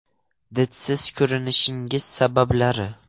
Didsiz ko‘rinishning sabablari.